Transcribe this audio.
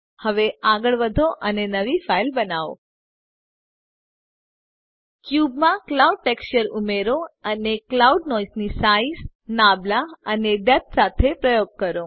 હવે આગળ વધો અને નવી ફાઈલ બનાવો ક્યુબ માં ક્લાઉડ ટેક્સચર ઉમેરો અને ક્લાઉડ નોઈસની સાઇઝ નાબલા અને ડેપ્થ સાથે પ્રયોગ કરો